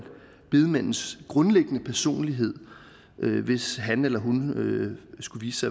bedemandens grundlæggende personlighed hvis han eller hun skulle vise